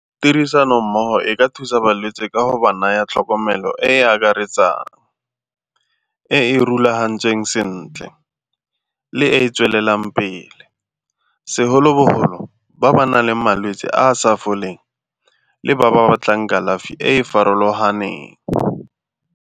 Tirisanommogo e ka thusa balwetse ka go ba naya tlhokomelo e e akaretsang, e e rulagantsweng sentle le e e tswelelang pele segolobogolo ba ba nang le malwetse a a sa foleng le ba ba batlang kalafi e e farologaneng.